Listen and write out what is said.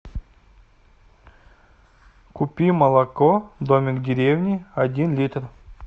купи молоко домик в деревне один литр